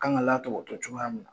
Kan ka latɔbɔtɔ cogoya min na.